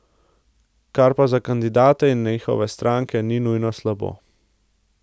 Kar pa za kandidate in njihove stranke ni nujno slabo.